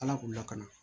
Ala k'u lakana